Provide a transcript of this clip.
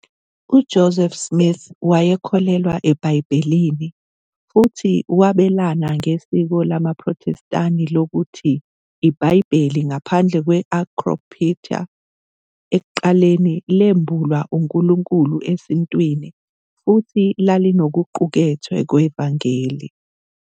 UJoseph Smith wayekholelwa eBhayibhelini futhi wabelana ngesiko lamaProthestani lokuthi iBhayibheli, ngaphandle kwe- Apocrypha, ekuqaleni lembulwa uNkulunkulu esintwini futhi lalinokuqukethwe "kwevangeli".